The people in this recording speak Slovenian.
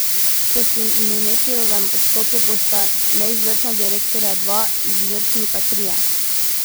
Po Simonetijevem odstopu bosta neizvršna direktorja dva, izvršni pa trije.